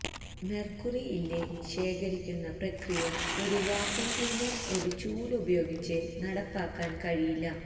mercury ഇല്ലേ ശേഖരിക്കുന്ന പ്രക്രിയ ഒരു വാക്വം ക്ലീനർ ഒരു ചൂല് ഉപയോഗിച്ച് നടപ്പാക്കാൻ കഴിയില്ല